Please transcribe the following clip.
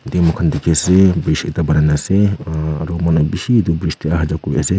khan dekhey ase bridge ekhta banaina ase aro manu beshi bridge dae aha jaa kuri ase.